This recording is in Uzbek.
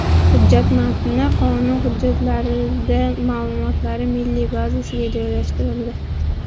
Hujjat matni qonun hujjatlari ma’lumotlari milliy bazasiga joylashtirildi .